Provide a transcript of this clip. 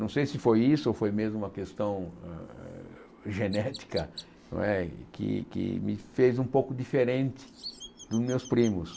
Não sei se foi isso ou foi mesmo uma questão hã genética não é que que me fez um pouco diferente dos meus primos.